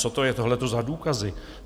Co to je tohleto za důkazy?